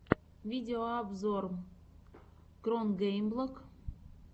видеообзор кронгеймблог